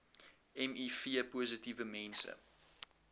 miv positiewe mense